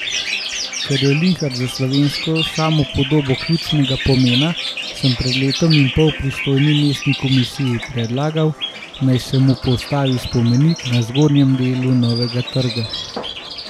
Ker je Linhart za slovensko samopodobo ključnega pomena, sem pred letom in pol pristojni mestni komisiji predlagal, naj se mu postavi spomenik na zgornjem delu Novega trga.